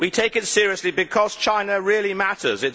We take it seriously because China really matters.